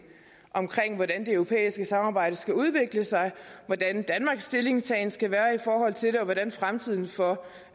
omkring hvordan det europæiske samarbejde skal udvikle sig hvordan danmarks stillingtagen skal være i forhold til det og hvordan fremtiden for